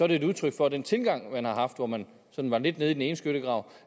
det er et udtryk for den tilgang man har haft hvor man sådan var lidt nede i den ene skyttegrav